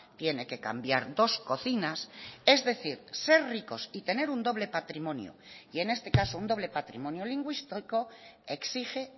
tiene que cambiar dos cocinas es decir ser ricos y tener un doble patrimonio y en este caso un doble patrimonio lingüístico exige